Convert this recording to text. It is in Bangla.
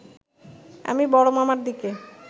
আমি বড় মামার দিকে